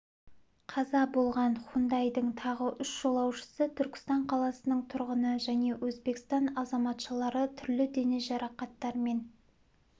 қаза болған хундайдың тағы үш жолаушысы түркістан қаласының тұрғыны және өзбекстан азаматшалары түрлі дене жарақаттарымен